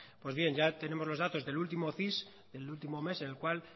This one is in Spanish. pues bien ya tenemos los datos del último cis del último mes el cual